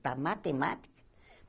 Para matemática.